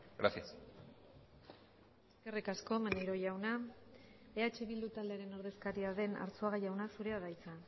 gracias eskerrik asko maneiro jauna eh bildu taldearen ordezkaria den arzuaga jauna zurea da hitza